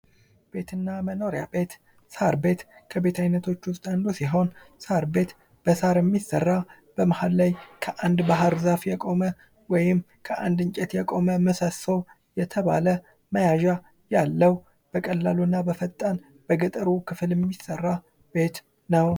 ቤት እና መኖሪያ ቤት ሳር ቤት ከቤት አይነቶች ዉስጥ አንዱ ሲሆን ሳር ቤት ከሳር የሚሰራ መሃል ላይ ከአንድ ባህርዛፍ የቆመ ወይም ከአንድ እንጨት የቆመ ምሰሶ የተባለ መያዣ ያለው በቀላል እና በፈጣን በገጠሩ ክፍል የሚሰራ ቤት ነው::